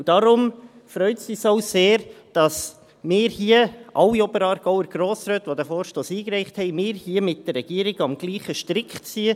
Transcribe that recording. – Deshalb freut es uns sehr, dass wir, alle Oberaargauer Grossräte, die diesen Vorstoss eingereicht haben, hier mit der Regierung am selben Strick ziehen.